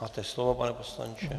Máte slovo, pane poslanče.